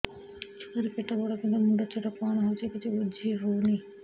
ଛୁଆର ପେଟବଡ଼ କିନ୍ତୁ ମୁଣ୍ଡ ଛୋଟ କଣ ହଉଚି କିଛି ଵୁଝିହୋଉନି